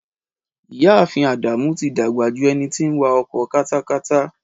Ìyá ààfin Ádámù tí dàgbà ju ẹni tí ń wa ọkọ katakata.